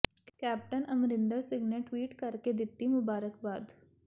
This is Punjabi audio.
ਕੈਪਟਨ ਅਮਰਿੰਦਰ ਸਿੰਘ ਨੇ ਟਵੀਟ ਕਰ ਕੇ ਦਿੱਤੀ ਮੁਬਾਰਕਬਾਦ